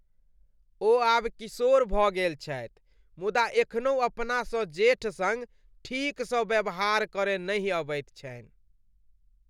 ओ आब किशोर भऽ गेल छथि मुदा एखनहु अपनासँ जेठ सङ्ग ठीकसँ व्यवहार करय नहि अबैत छनि।